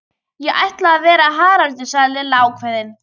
Ég ætla að vera Haraldur sagði Lilla ákveðin.